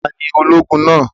Ta ni ológun náà?